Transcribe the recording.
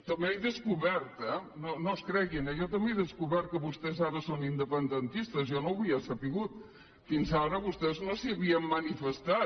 també ho he descobert eh no es creguin eh jo també he descobert que vostès ara són independentistes jo no ho havia sabut fins ara vostès no se n’havien manifestat